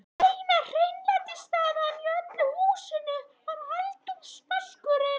Eina hreinlætisaðstaðan í öllu húsinu var eldhúsvaskurinn.